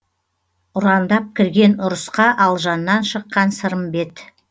ұрандап кірген ұрысқа алжаннан шыққан сырымбет